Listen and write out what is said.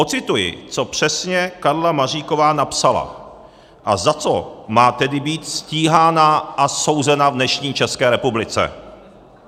Odcituji, co přesně Karla Maříková napsala a za co má tedy být stíhána a souzena v dnešní České republice.